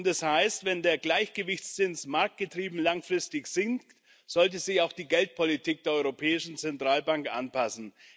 Das heißt, wenn der Gleichgewichtszins marktgetrieben langfristig sinkt, sollte sich auch die Geldpolitik der Europäischen Zentralbank anpassen.